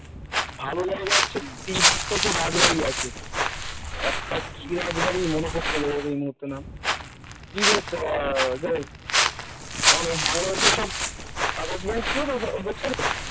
ভালো জায়গা হচ্ছে । তিন চারটা হচ্ছে রাজবাড়ি আছে একটা কি রাজবাড়ি মনে পড়ছে না এই মুহূর্তে নাম কি বেশ যাই হোক আমাদের বাংলাদেশের সব attachment ছিল তো ওদের সাথে